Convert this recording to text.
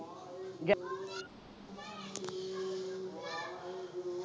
ਜੈ